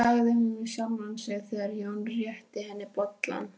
sagði hún við sjálfa sig, þegar Jón rétti henni bollann.